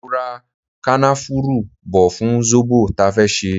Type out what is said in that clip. Mo ra kanafuru bò fún zobo ta fẹ́ ṣe.